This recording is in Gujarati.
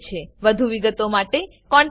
વધુ વિગતો માટે contactspoken tutorialorg પર લખો